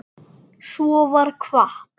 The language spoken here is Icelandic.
Svo var kvatt.